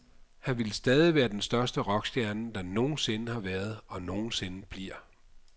Han ville stadig være den største rockstjerne, der nogen sinde har været og nogen sinde bliver.